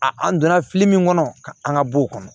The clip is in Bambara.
A an donna fili min kɔnɔ an ka bɔ o kɔnɔ